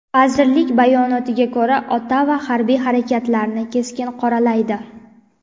Vazirlik bayonotiga ko‘ra, Ottava harbiy harakatlarni keskin qoralaydi.